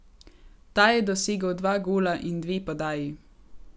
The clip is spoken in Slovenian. Ta je dosegel dva gola in dve podaji.